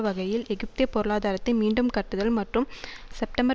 வகையில் எகிப்திய பொருளாதாரத்தை மீண்டும் கட்டுதல் மற்றும் செப்டம்பர்